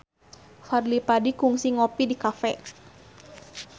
Fadly Padi kungsi ngopi di cafe